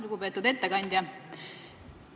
Lugupeetud ettekandja!